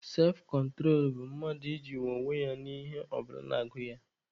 Sefkontro bụ mmadụ ijinwu onwe ya n'ihe ọ bụla na-agụ ya.